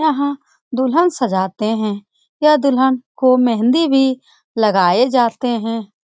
यहां दुल्हन सजाते है यह दुल्हन को मेहँदी भी लगाए जाते है।